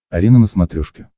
арена на смотрешке